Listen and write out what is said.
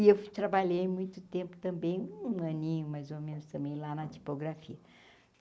E eu ffui trabalhei muito tempo também, um aninho, mais ou menos, também, lá na tipografia.